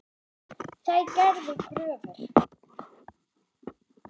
Þær gerðu kröfur.